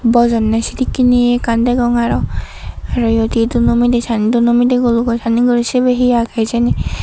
bojonney sedekken ye degong arowz aro eyot he dunno midey san dunno midey gulugo sanney guriney sibey he agey hijeni.